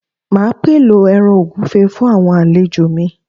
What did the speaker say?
Máa pèlò ẹran ògúnfe fún àwọn àlejò mi